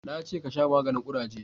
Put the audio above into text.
Na ce ka shafa maganin kuraje!